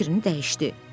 Sonra fikrini dəyişdi.